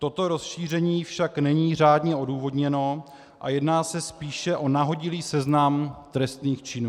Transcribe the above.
Toto rozšíření však není řádně odůvodněno a jedná se spíš o nahodilý seznam trestných činů.